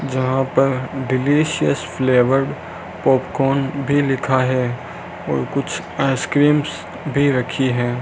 यहां पर delicious flavoured popcorn भी लिखा है और कुछ आइसक्रीम्स भी रखी है।